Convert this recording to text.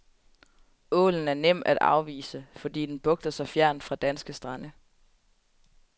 Ålen er nem at afvise, fordi den bugter sig fjernt fra danske strande.